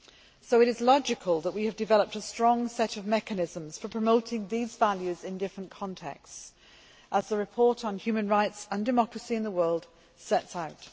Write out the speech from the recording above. So it is logical that we have developed a strong set of mechanisms for promoting these values in different contexts as the report on human rights and democracy in the world sets out.